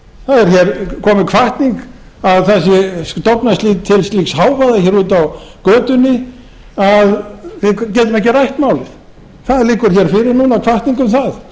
það er komin hvatning að stofna til slíks hávaða úti á götunni að við getum ekki rætt málið það liggur fyrir núna hvatning um það